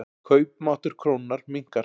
Kaupmáttur krónunnar minnkar.